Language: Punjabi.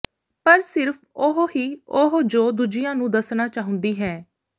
ਪਰ ਸਿਰਫ ਉਹ ਹੀ ਉਹ ਜੋ ਦੂਜਿਆਂ ਨੂੰ ਦੱਸਣਾ ਚਾਹੁੰਦੀ ਹੈ